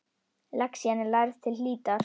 Lexían er lærð til hlítar.